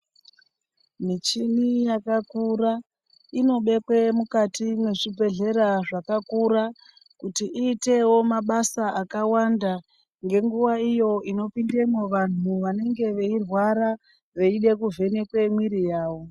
Muchini yakakura inobekwe mukati mwezvibhedhera zvakakura kuti iitewo mabasa akawanda ngenguwa iyo inopindemwo vantu vanenge veirwara veide kuvhenekwe mwiri yawo.